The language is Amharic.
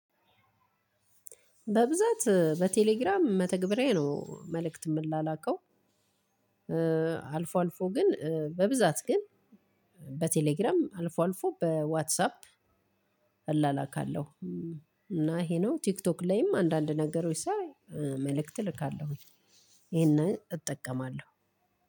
በብዛት በቴሌግራም መተግበሪያዬ ነው መልእክት የምላላከው አልፎ አልፎ ግን በብዛት ግን በቴሌግራም አልፎ አልፎ በዋትሳፕ እላላካለሁ። እና ይሄ ነው ቲክቶክ ላይም አንዳንድ ነገሮች ሳይ መልእክት እልካለሁ ይሄንን እጠቀማለሁ።